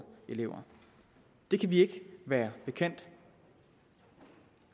elever det kan vi ikke være bekendt